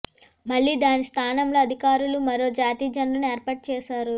మళ్లీ దాని స్థానంలో అధికారులు మరో జాతీయ జెండాను ఏర్పాటు చేశారు